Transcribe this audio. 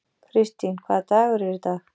Kirstín, hvaða dagur er í dag?